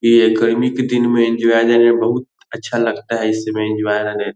ये गर्मी के दिन मे एन्जॉय लेने में बहुत अच्छा लगता है इस समय एन्जॉय लेने में।